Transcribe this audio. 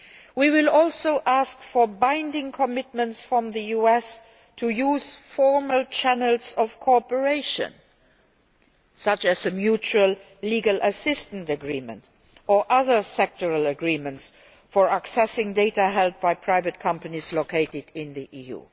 We will also ask for binding commitments from the US to use formal channels of cooperation, such as a mutual legal assistance agreement or other sectoral agreements concerning accessing data held by private companies located in the